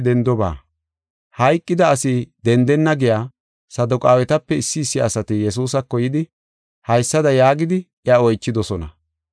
Hayqida asi dendenna giya Saduqaawetape issi issi asati Yesuusako yidi, haysada yaagidi, iya oychidosona.